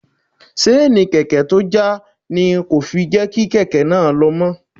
Seeni kèké tó já ni kò fi rí kèké náà lo mó.